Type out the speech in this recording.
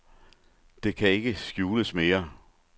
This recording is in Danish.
Det kan ikke skjules mere.